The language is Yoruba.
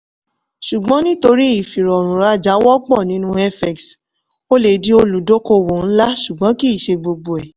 ṣùgbọ́n nítorí ìfirọrùn rajà wọ́pọ̀ nínú fx o lè di olùdókòwò ńlá ṣùgbọ́n kì í ṣe gbogbo ẹ̀.